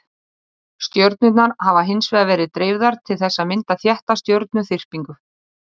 stjörnurnar hafa hins vegar verið of dreifðar til þess að mynda þétta stjörnuþyrpingu